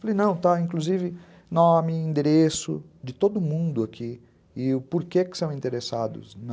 Falei, não, está, inclusive nome, endereço de todo mundo aqui e o porquê que são interessados na...